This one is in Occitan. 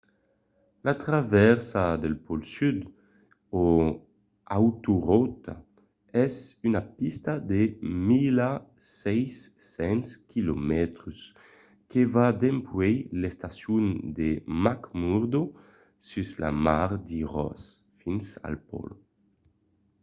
la travèrsa del pòl sud o autorota es una pista de 1600 km que va dempuèi l'estacion de mcmurdo sus la mar de ross fins al pòl